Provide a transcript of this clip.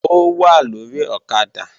Ó wà lórí ọ̀kadà